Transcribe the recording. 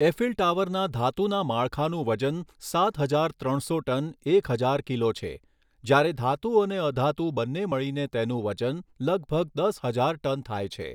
Eiffel ટાવરના ધાતુના માળખાનું વજન સાત હજાર ત્રણસો ટન એક હજાર કિલો છે, જ્યારે ધાતુ અને અધાતુ બન્ને મળીને તેનું વજન લગભગ દસ હજાર ટન થાય છે.